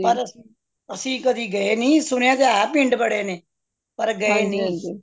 ਪਰ ਅੱਸੀ ਕਦੇ ਗਏ ਨਹੀਂ ਸੁਣਿਆ ਤੇ ਹੈ ਪਿੰਡ ਬੜੇ ਨੇ ਪਰ ਗਏ ਨਹੀਂ